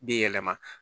Bi yɛlɛma